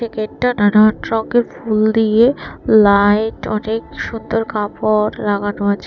এই গেটটা নানান রংয়ের ফুল দিয়ে লাইট অনেক সুন্দর কাপড় লাগানো আছে।